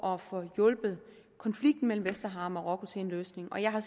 at få hjulpet konflikten mellem vestsahara og marokko til en løsning og jeg har